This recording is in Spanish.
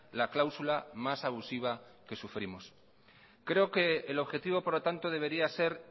la cláusula más abusiva que sufrimos creo que el objetivo por lo tanto debería ser